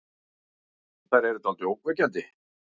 Þær eru dáldið ógnvekjandi.